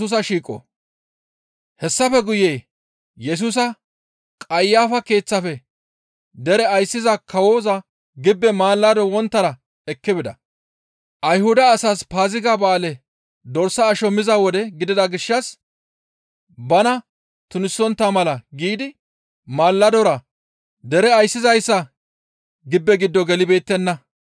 Hessafe guye Yesusa Qayafa keeththafe dere ayssiza kawoza gibbe mallado wonttara ekki bida. Ayhuda asas Paaziga ba7aale dorsa asho miza wode gidida gishshas bana tunisontta mala giidi malladora dere ayssizayssa gibbe giddo gelibeettenna.